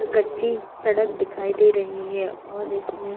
कच्ची सड़क दिखाई दे रही है और इसमें--